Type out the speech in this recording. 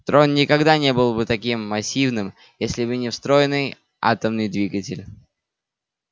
трон никогда не был бы таким массивным если бы не встроенный атомный двигатель